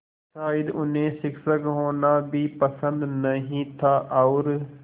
शायद उन्हें शिक्षक होना भी पसंद नहीं था और